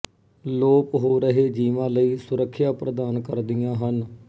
ਲੋਪ ਹੋ ਰਹੇ ਜੀਵਾਂ ਲਈ ਸੁਰੱਖਿਆਂ ਪ੍ਰਦਾਨ ਕਰਦੀਆਂ ਹਨ